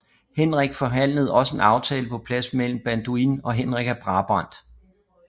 Henrik forhandlede også en aftale på plads mellem Balduin og Henrik af Brabant